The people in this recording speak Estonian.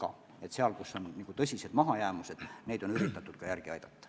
Valdkondi, kus on tõsised mahajäämused, on üritatud ka järele aidata.